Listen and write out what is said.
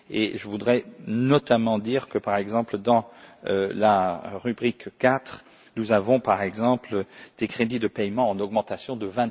Je voudrais notamment dire que, par exemple dans la rubrique IV, nous avons par exemple des crédits de paiement en augmentation de